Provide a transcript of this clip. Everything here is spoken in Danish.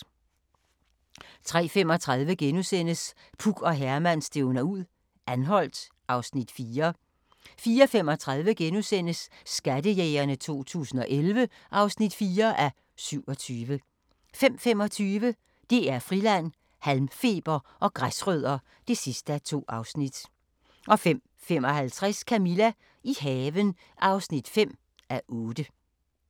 03:35: Puk og Herman stævner ud - Anholt (Afs. 4)* 04:35: Skattejægerne 2011 (4:27)* 05:25: DR Friland: Halmfeber og græsrødder (2:2) 05:55: Camilla – i haven (5:8)